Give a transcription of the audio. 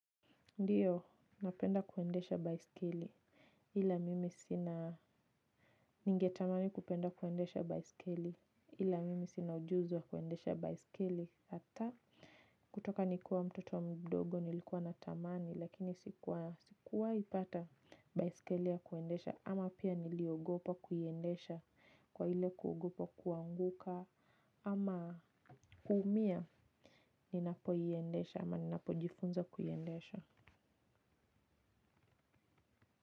Ndiyo, napenda kuendesha baisikeli. Ila mimi sina, nigetamani kupenda kuendesha baisikeli. Ila mimi sina ujuzi wa kuendesha baisikeli. Hata kutoka nikiwa mtoto mdogo nilikuwa natamani lakini sikuwahi pata baisikeli ya kuendesha ama pia niliogopa kuiendesha kwa ile kuogopa kuanguka ama kuumia ninapoiendesha ama napojifunza kuiendesha.